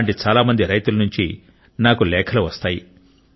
అలాంటి చాలా మంది రైతుల నుండి నాకు లేఖలు వస్తాయి